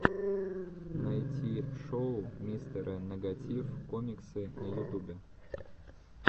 найти шоу мистера нэгатив коммиксы на ютубе